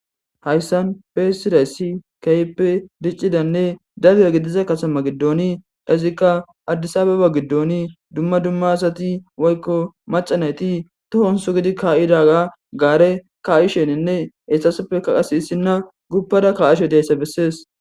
Hayisani xeyisidayisi kehoppe dicidane daro deiza katama giddoni izikka addisi abeba lgidoni dumma dumma asati woyikko macca nayiti tohoni sugidi kaidaga gare kaishshenne etassoppe qasinne issina guppada kashshe dizayisa beesesi